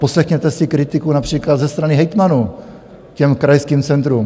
Poslechněte si kritiku například ze strany hejtmanů ke krajským centrům.